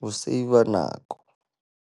Ho save-a nako.